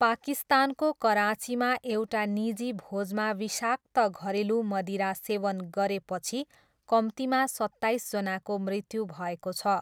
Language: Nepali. पाकिस्तानको कराँचीमा एउटा निजी भोजमा विषाक्त घरेलु मदिरा सेवन गरेपछि कम्तीमा सत्ताइसजनाको मृत्यु भएको छ।